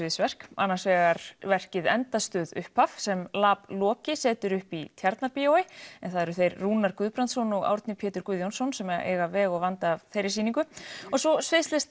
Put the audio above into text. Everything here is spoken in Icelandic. sviðsverk annars vegar verkið endastöð upphaf sem setur upp í Tjarnarbíói en það eru þeir Rúnar Guðbrandsson og Árni Pétur Guðjónsson sem eiga veg og vanda af þeirri sýningu og svo